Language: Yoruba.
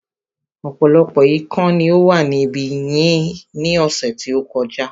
Ọ̀pọ̀lọpọ̀ ikán ni ó wà ní ibí yìí ní ọ̀sẹ̀ tí ó kọjá